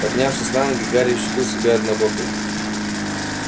поднявшись на ноги гарри ощутил себя однобоким